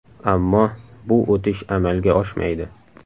Ammo bu o‘tish amalga oshmaydi.